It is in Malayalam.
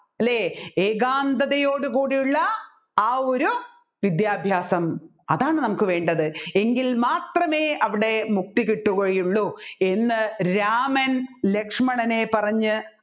അല്ലെ ഏകാന്തതയോടുകൂടിയുള്ള ആ ഒരു വിദ്യാഭ്യാസം അതാണ് നമ്മുക്ക് വേണ്ടത് എങ്കിൽ മാത്രമേ അവിടെ മുക്തി കിട്ടുകയുള്ളു എന്ന് രാമൻ ലക്ഷ്മണനെ പറഞ്ഞ്